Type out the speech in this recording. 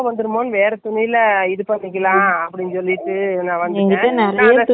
நான் நீங்க இந்த சீலையை அப்படி செய்யுங்க சொல்லு நான் அதை துணிஞ்சி எறங்கலானு இருக்கேன்.